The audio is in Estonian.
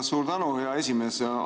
Suur tänu, hea esimees!